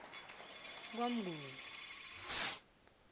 kwamnguni